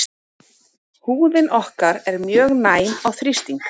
Húðin okkar er mjög næm á þrýsting.